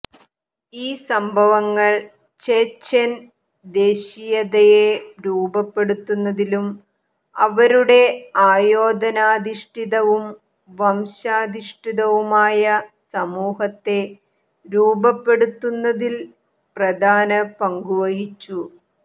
ഈ സംഭവങ്ങൾ ചെചെൻ ദേശീയതയെ രൂപപ്പെടുത്തുന്നതിലും അവരുടെ ആയോധനാധിഷ്ഠിതവും വംശാധിഷ്ഠിതവുമായ സമൂഹത്തെ രൂപപ്പെടുത്തുന്നതിൽ പ്രധാന പങ്കുവഹിച്ചു